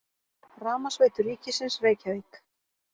Rafmagnsveitur ríkisins, Reykjavík.